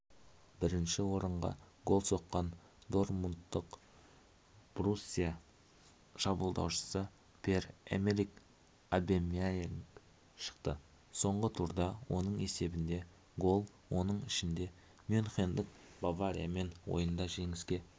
бірінші орынға гол соққан дортмундық боруссия шабуылдаушысы пьер-эмерик обамейянг шықты соңғы турда оның есебінде гол оның ішінде мюнхендік бавариямен ойында жеңіске